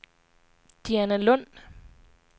Dianalund